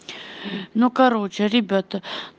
ну короче ребята